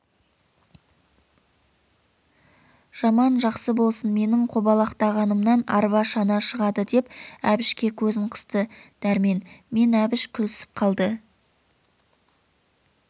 жаман-жақсы болсын менің қобалақтағанымнан арба шана шығады деп әбішке көзін қысты дәрмен мен әбіш күлісіп қалды